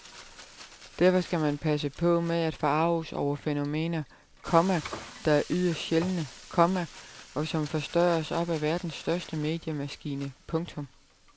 Derfor skal man passe på med at forarges over fænomener, komma der er yderst sjældne, komma og som forstørres op af verdens største mediemaskine. punktum